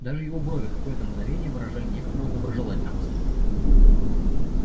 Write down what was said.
даже его брови какое-то мгновение выражали некоторую доброжелательность